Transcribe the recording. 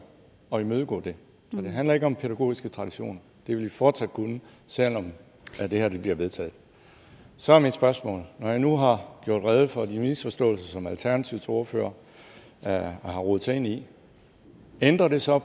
at imødegå det det handler ikke om pædagogiske traditioner det vil de fortsat kunne selv om det her bliver vedtaget så er mit spørgsmål når jeg nu har gjort rede for de misforståelser som alternativets ordfører har rodet sig ind i ændrer det så